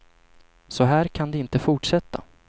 Så här kan det inte fortsätta.